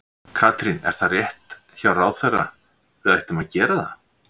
Katrín, er það rétt hjá ráðherra, við ættum að gera það?